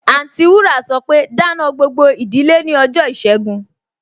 Anti wúrà sọpe, Dáná gbogbo ìdílé ní ọjọ́ ìṣẹ́gun!